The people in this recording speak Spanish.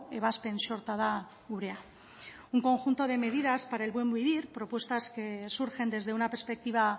ebazpen sorta da gurea un conjunto de medidas para el buen vivir propuestas que surgen desde una perspectiva